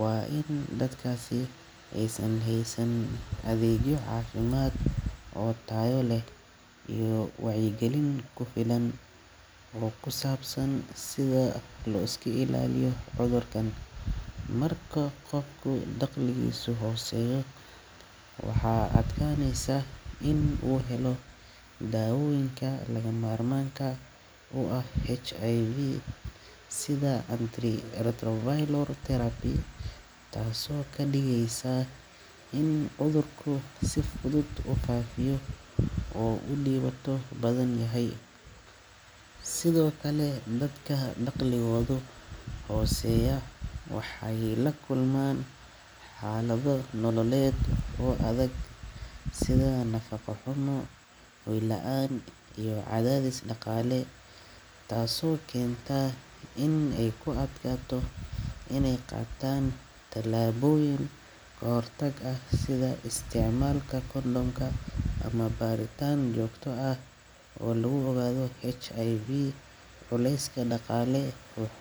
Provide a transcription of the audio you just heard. Waa in dadkasi ee san heesan adeegiyo aafimaad oo taayoo leh iyo waayigilin ku filan ruu ku saabsan sida looski ilaaliyo u dhorkan. Marqa qofku daqli isu xooseeya waha aadkaan eesan in uu helo dha uwiinka laga marmanka u ah hiv sida antri retrovaylor terapi ta soo ka liiisa in u dhorku siftulut u kaafiyo oo u liiwato badan ya hayi. Sido kale badka daqli guwada xooseeya. Waha hayi lakul maan xaaladu nololeed u aadad sida naqa qomu u ilaan iyo aadadis na kale ta soo kinta in ee kuadga to in ee qaatan talaabuuyin qortaga sida isticmaalka kollonka ama baaritan jokto ah u loobo gado HIV u leeyska na kale u xooseeya.